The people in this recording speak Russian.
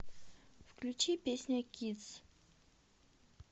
включи песня кидз